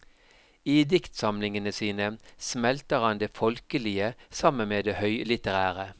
I diktsamlingene sine smelter han det folkelige sammen med det høylitterære.